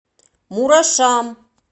мурашам